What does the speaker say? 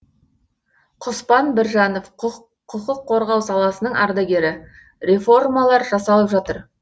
құспан біржанов құқық қорғау саласының ардагері реформалар жасалып жатыр